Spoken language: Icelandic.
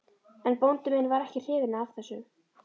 En bóndi minn var ekki hrifinn af þessu.